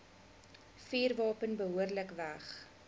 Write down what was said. vuurwapen behoorlik weg